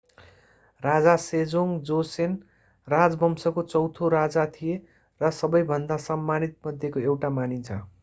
राजा Sejong Joseon राजवंशको चौँथो राजा थिए र सबैभन्दा सम्मानित मध्येको एउटा मानिन्छ